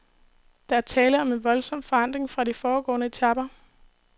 Der er tale om en voldsom forandring fra de foregående etaper.